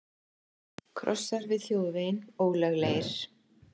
Krossar við þjóðveginn ólöglegir